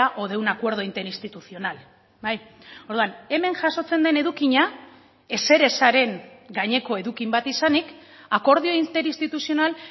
o de un acuerdo interinstitucional orduan hemen jasotzen den edukia ezerezaren gaineko edukin bat izanik akordio inter instituzional